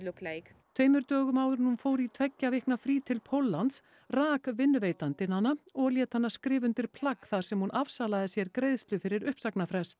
tveimur dögum áður en hún fór í tveggja vikna frí til Póllands rak vinnuveitandinn hana og lét hana skrifa undir plagg þar sem hún afsalaði sér greiðslu fyrir uppsagnarfrest